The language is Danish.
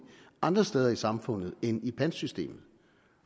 andre steder i samfundet end i pantsystemet